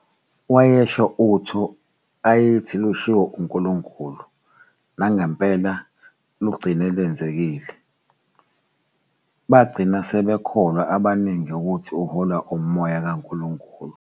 Wayesho utho ayethi lushiwo uNkulunkulu, nangempela lugcine lwenzekile, bagcina sebekholwa abaningi ukuthi uholwa umoya kaNkulunkulu.